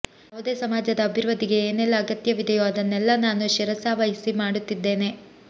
ಯಾವುದೇ ಸಮಾಜದ ಅಭಿವೃದ್ಧಿಗೆ ಏನೆಲ್ಲ ಅಗತ್ಯವಿದೆಯೋ ಅದನ್ನೆಲ್ಲ ನಾನು ಶಿರಸಾವಹಿಸಿ ಮಾಡುತ್ತಿದ್ದೇನೆ